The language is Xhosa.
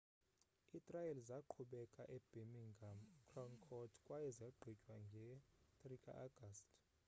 itrial zaqhubeka ebirmingham crown court kwaye zagqitywa nge-3 ka-agasti